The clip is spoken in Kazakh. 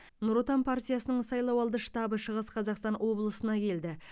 нұр отан партиясының сайлау алды штабы шығыс қазақстан облысына келді